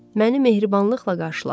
Məni mehribanlıqla qarşıladı.